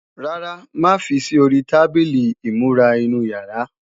Rárá, má fi sí ori tábìlì ìmúra inú yàrá